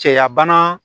Cɛya bana